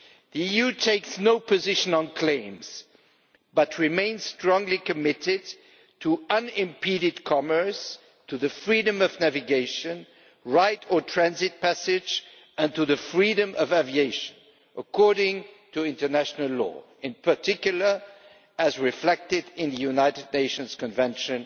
The EU takes no position on claims but remains strongly committed to unimpeded commerce, to the freedom of navigation, right of transit passage and to the freedom of aviation according to international law, in particular as reflected in the United Nations Convention